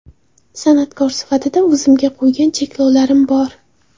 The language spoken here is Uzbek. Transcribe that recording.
San’atkor sifatida o‘zimga qo‘ygan cheklovlarim bor.